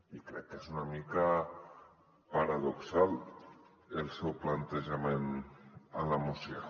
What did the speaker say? i crec que és una mica paradoxal el seu plantejament a la moció